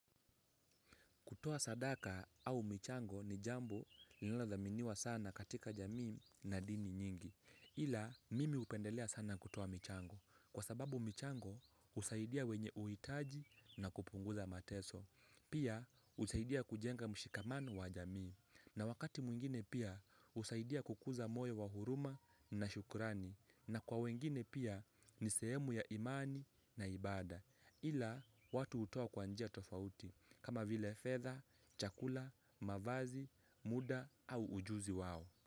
Kutoa sadaka au michango ni jambo linalodhaminiwa sana katika jamii na dini nyingi. Ila mimi hupendelea sana kutoa michango. Kwa sababu michango husaidia wenye uhitaji na kupunguza mateso. Pia husaidia kujenga mshikamano wa jamii. Na wakati mwingine pia husaidia kukuza moyo wa huruma na shukrani. Na kwa wengine pia ni sehemu ya imani na ibada. Ila watu hutoa kwa njia tofauti. Kama vile fedha, chakula, mavazi, muda au ujuzi wao.